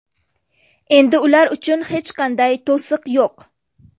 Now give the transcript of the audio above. Endi ular uchun hech qanday to‘siq yo‘q.